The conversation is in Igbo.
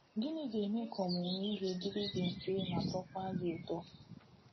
Gịnị ga-eme ka ọmụmụ ihe dịrị gị mfe ma na-atọkwa gị ụtọ?